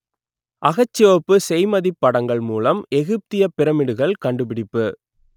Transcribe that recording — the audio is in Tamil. அகச்சிவப்பு செய்மதிப் படங்கள் மூலம் எகிப்தியப் பிரமிடுகள் கண்டுபிடிப்பு